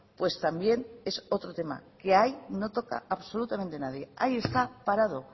pues también es otro tema que ahí no toca absolutamente nadie ahí está parado